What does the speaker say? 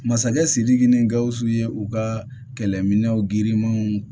Masakɛ sidiki ni gausu ye u ka kɛlɛminɛnw girinmanw